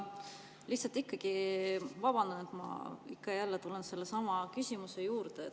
Lihtsalt vabandan, et ma ikka ja jälle tulen sellesama küsimuse juurde.